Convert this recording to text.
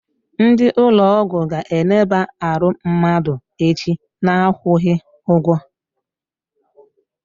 Ndị ụlọ ọgwụ ga eneba arụ mmadụ echi, na akwụghị ụgwọ